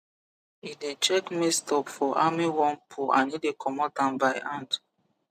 e dey check maize top for armyworm poo and e dey comot am by hand